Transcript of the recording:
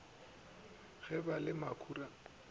go ba le makhura a